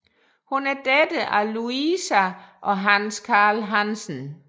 Hun er datter af Louisa og Hans Carl Hansen